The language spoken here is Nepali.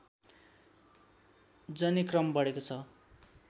जने क्रम बढेको छ